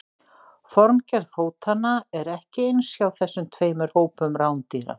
Formgerð fótanna er ekki eins hjá þessum tveimur hópum rándýra.